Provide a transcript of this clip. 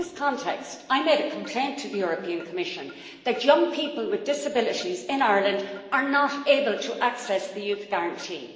In this context, I made a complaint to the Commission that young people with disabilities in Ireland are not able to access the Youth Guarantee.